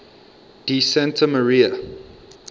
di santa maria